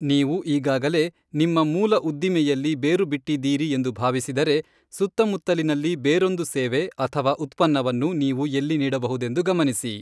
ನೀವು ಈಗಾಗಲೇ ನಿಮ್ಮ ಮೂಲ ಉದ್ದಿಮೆಯಲ್ಲಿ ಬೇರು ಬಿಟ್ಟಿದ್ದಿರಿ ಎಂದು ಭಾವಿಸಿದರೆ, ಸುತ್ತಮುತ್ತಲಿನಲ್ಲಿ ಬೇರೊಂದು ಸೇವೆ ಅಥವಾ ಉತ್ಪನ್ನವನ್ನು ನೀವು ಎಲ್ಲಿ ನೀಡಬಹುದೆಂದು ಗಮನಿಸಿ.